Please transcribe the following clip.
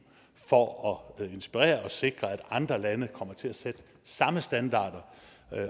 for at inspirere og sikre at andre lande kommer til at sætte samme standarder